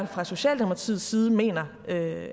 fra socialdemokratiets side mener